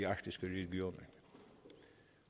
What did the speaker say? arktiske region